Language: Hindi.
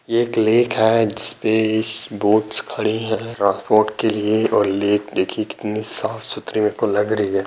ये एक लेक है जिस पे बोट्स खड़े हैं ट्रांसपोर्ट के लिए और लेक देखिये कितनी साफ-सुथरी मेरे को लग रही है।